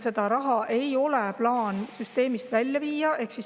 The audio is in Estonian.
Seda raha ei ole plaanis süsteemist välja viia.